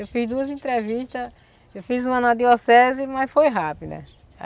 Eu fiz duas entrevistas, eu fiz uma na arquidiocese, mas foi rápido, né?